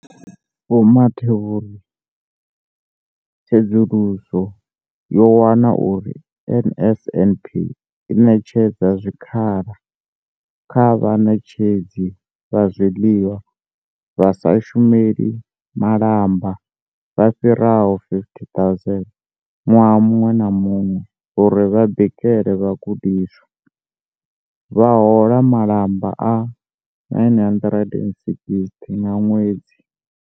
Vho Mathe vho ri tsedzuluso yo wana uri NSNP i ṋetshedza zwikhala kha vhaṋetshedzi vha zwiḽiwa vha sa shumeli malamba vha fhiraho 50 000 ṅwaha muṅwe na muṅwe uri vha bikele vhagudiswa, vha hola malamba a R960 nga ṅwedzi.